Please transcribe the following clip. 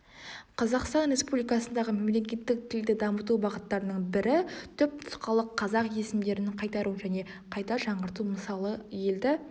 қазақстан республикасындағы мемлекеттік тілді дамыту бағыттарының бірі түпнұсқалық қазақ есімдерін қайтару және қайта жаңғырту мысалы елді